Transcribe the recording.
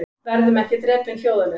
Verðum ekki drepin hljóðalaust